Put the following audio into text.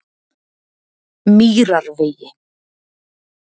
Mýrarvegi